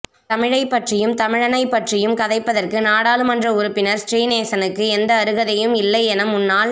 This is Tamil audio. தமிழைப் பற்றியும் தமிழனைப் பற்றியும் கதைப்பதற்கு நாடாளுமன்ற உறுப்பினர் ஸ்ரீநேசனுக்கு எந்த அருகதையும் இல்லையென முன்னாள்